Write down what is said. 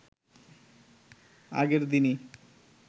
আগের দিনই